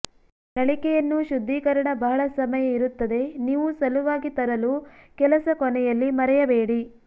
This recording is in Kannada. ನಳಿಕೆಯನ್ನು ಶುದ್ಧೀಕರಣ ಬಹಳ ಸಮಯ ಇರುತ್ತದೆ ನೀವು ಸಲುವಾಗಿ ತರಲು ಕೆಲಸ ಕೊನೆಯಲ್ಲಿ ಮರೆಯಬೇಡಿ